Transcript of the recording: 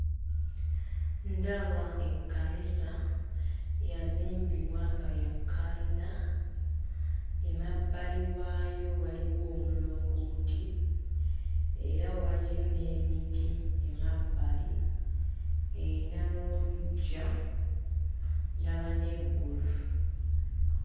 Ndaba ekkanisa eyazimbibwa nga ya kalina, emabbali waayo waliwo omulongooti era waliyo n'emiti emabbali. Erina n'oluggya, ndaba n'eggulu.